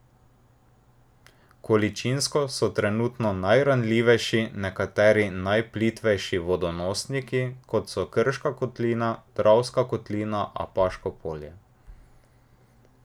Količinsko so trenutno najranljivejši nekateri najplitvejši vodonosniki, kot so Krška kotlina, Dravska kotlina, Apaško polje.